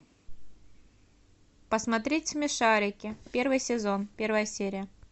посмотреть смешарики первый сезон первая серия